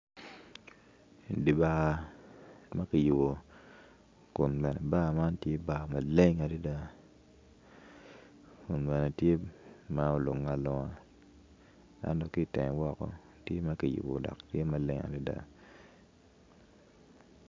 Di bar ma kiyubo kun bene bar man kiyubo maleng kun bene tye ma olunge alunga ento ki itenge woko tye ma kiyubo dok tye maleng adada.